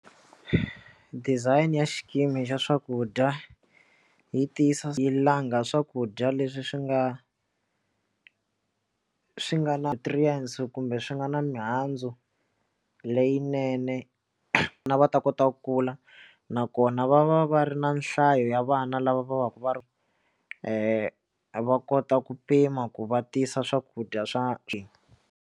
Design ya xikimi xa swakudya yi tiyisisa hi langha swakudya leswi swi nga swi nga na nutrients kumbe swi nga na mihandzu leyinene vana va ta kota ku kula nakona va va va ri na nhlayo ya vana lava va va ka va ri va kota ku pima ku va tisa swakudya swa.